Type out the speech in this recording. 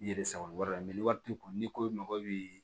I yɛrɛ sabari ni wari t'i kun n'i ko i mago bi